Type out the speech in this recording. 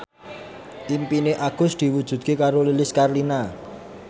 impine Agus diwujudke karo Lilis Karlina